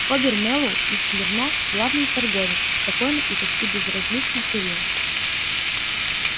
хобер мэллоу из смирно главный торговец спокойно и почти безразлично курил